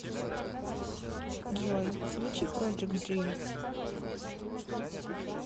джой включи проджект дримс